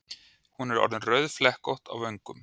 Hún er orðin rauðflekkótt í vöngum.